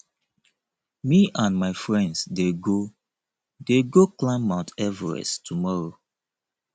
me and my friends dey go dey go climb mount everest tomorrow